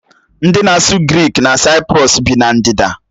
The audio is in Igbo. Ndị na-asụ Grik na Saịprọs bi na ndịda